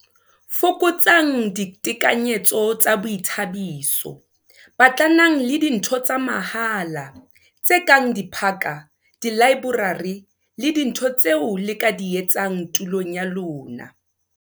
Fokotsang ditekanyetso tsa boithabiso - Batlanang le dintho tsa mahala, tse kang diphaka, dilaeborari le dintho tseo le ka di etsang tulong ya lona.